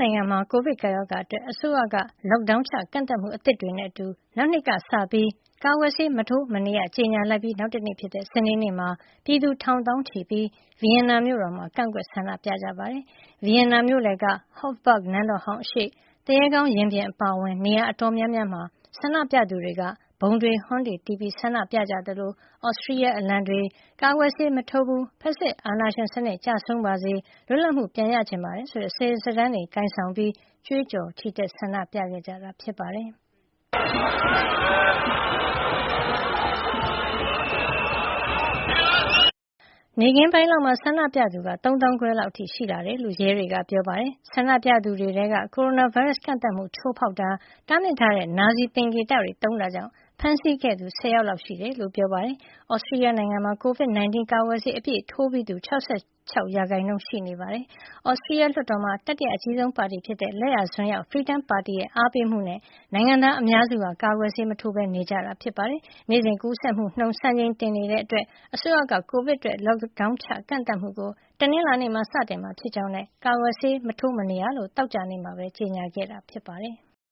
နိုင်ငံမှာ ကိုဗစ် ကပ်ရောဂါအတွက် အစိုးရက Lockdown ချ ကန့်သတ်မှု အသစ်တွေနဲ့အတူ နောက်နှစ်ကစလို့ ကာကွယ်ဆေးမထိုးမနေရ ကြေညာလိုက်ပြီး နောက်တနေ့ဖြစ်တဲ့ စနေနေ့မှာ ပြည်သူ ထောင်သောင်းချီပြီး ဗီယင်နာမြို့တော်မှာ ကန့်ကွက် ဆန္ဒပြခဲ့ကြပါတယ်။ ဗီယင်နာမြို့လယ်က Hofburg နန်းတော်ဟောင်းအရှေ့ သူရဲကောင်းရင်ပြင် အပါအဝင် နေရာအတော်များများမှာ ဆန္ဒပြသူတွေက ဗုံတွေ၊ ဟွန်းတွေ တီးပြီး ဆန္ဒပြကြသလို သြစတြီးယားအလံတွေ၊ ကာကွယ်ဆေးမထိုးဘူး၊ ဖက်ဆစ်အာဏာရှင်စနစ် ကျဆုံးပါစေ၊ လွတ်လပ်မှု ပြန်ရချင်ပါတယ်ဆိုတဲ့ စာရွက်စာတန်းတွေ ကိုင်ဆောင်ပြီး ကြွေးကြော် ဆန္ဒပြခဲ့ကြတာပါ။ နေ့ခင်းပိုင်းလောက်မှာ ဆန္ဒပြသူက ၃ သောင်းခွဲလောက်အထိ ရှိလာတယ်လို့ ရဲတွေက ပြောပါတယ်။ ဆန္ဒပြသူတွေထဲက ကိုရိုနာဗိုင်းရပ်စ် ကန့်သတ်မှုကို ချိုးဖောက်တာ၊ တားမြစ်ထားတဲ့ နာဇီသင်္ကေတတွေ သုံးတာကြောင့် ဖမ်းဆီးခဲ့သူက ၁၀ ယောက်လောက် ရှိတယ်လို့လည်း ပြောပါတယ်။ သြစတြီးယားနိုင်ငံမှာ COVID-19 ကာကွယ်ဆေး အပြည့်အဝထိုးပြီးသူက ၆၆ ရာခိုင်နှုန်းလောက် ရှိနေပြီး ဒါဟာ ဥရောပမှာဆို ဆေးထိုးပြီးမှုနှုန်း အနည်းဆုံးထဲမှာ ပါနေပါတယ်။ သြစတြီးယားလွှတ်တော်မှာ တတိယအကြီးဆုံးပါတီဖြစ်တဲ့ လက်ယာစွန်းရောက် Freedom ပါတီရဲ့ အားပေးမှုနဲ့ နိုင်ငံသားအများစုဟာ ကာကွယ်ဆေးမထိုးဘဲ နေကြတာဖြစ်ပါတယ်။ နေ့စဉ် ကူးစက်မှုနှုန်းက စံချိန်တင် ဖြစ်နေတာကြောင့် အစိုးရက ကိုဗစ်အတွက် Lockdown ချ ကန့်သတ်မှုကို တနင်္လာနေ့မှာ စတင်မှာဖြစ်ကြောင်းနဲ့ ကာကွယ်ဆေး မထိုးမနေရလို့ သောကြာနေ့မှာ ကြေညာခဲ့တာ ဖြစ်ပါတယ်။